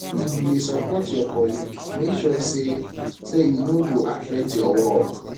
if you dey support your colleague make sure sey sey e no go affect your work